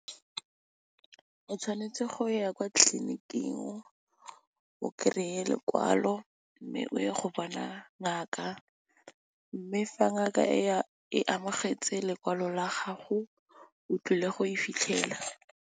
O tshwanetse go ya kwa tlliniking o kry-e lekwalo mme, o ye go bona ngaka, mme fa ngaka e amogetse lekwalo la gago o tlile go e fitlhela.